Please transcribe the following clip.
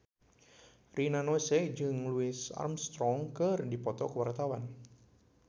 Rina Nose jeung Louis Armstrong keur dipoto ku wartawan